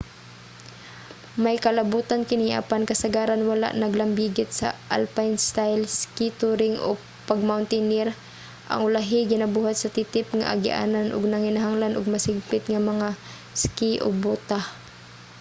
may kalabutan kini apan kasagaran wala naglambigit sa alpine style ski touring o pag-mountaineer ang ulahi ginabuhat sa titip nga agianan ug nanginahanglan og mas higpit nga mga ski ug bota